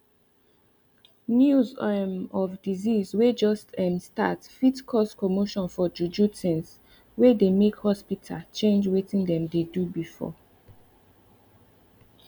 news um of disease way just um start fit cause commotion for juju things way they make hospita change wetin dem dey do before